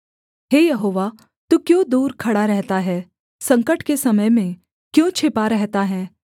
हे Jehovah तू क्यों दूर खड़ा रहता है संकट के समय में क्यों छिपा रहता है